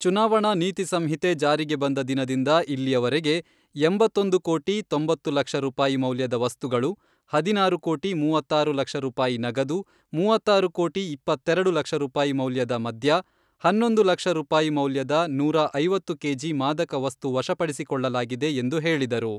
ಚುನಾವಣಾ ನೀತಿ ಸಂಹಿತೆ ಜಾರಿಗೆ ಬಂದ ದಿನದಿಂದ ಇಲ್ಲಿಯವರೆಗೆ ಎಂಬತ್ತೊಂದು ಕೋಟಿ, ತೊಂಬತ್ತು ಲಕ್ಷ ರೂಪಾಯಿ ಮೌಲ್ಯದ ವಸ್ತುಗಳು, ಹದಿನಾರು ಕೋಟಿ ಮೂವತ್ತಾರು ಲಕ್ಷ ರೂಪಾಯಿ ನಗದು, ಮೂವತ್ತಾರು ಕೋಟಿ ಇಪ್ಪತ್ತೆರೆಡು ಲಕ್ಷ ರೂಪಾಯಿ ಮೌಲ್ಯದ ಮದ್ಯ, ಹನ್ನೊಂದು ಲಕ್ಷ ರೂಪಾಯಿ ಮೌಲ್ಯದ ನೂರಾ ಐವತ್ತು ಕೆಜಿ ಮಾದಕ ವಸ್ತು ವಶಪಡಿಸಿಕೊಳ್ಳಲಾಗಿದೆ ಎಂದು ಹೇಳಿದರು.